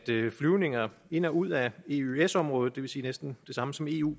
flyvninger ind og ud ad eøs området det vil sige næsten det samme som eu